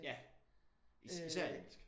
Ja. Især i engelsk